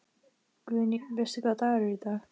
Guðný: Veistu hvaða dagur er í dag?